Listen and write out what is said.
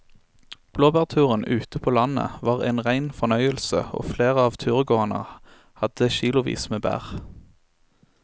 Blåbærturen ute på landet var en rein fornøyelse og flere av turgåerene hadde kilosvis med bær.